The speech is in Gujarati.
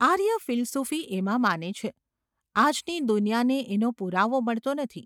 આર્ય ફિલસૂફી એમાં માને છે; આજની દુનિયાને એનો પુરાવો મળતો નથી.